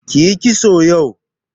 Kiyi kitso yau.